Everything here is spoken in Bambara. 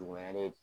Dugumɛnɛ